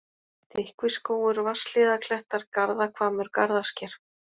Þykkviskógur, Vatnshlíðarklettar, Garðahvammur, Garðasker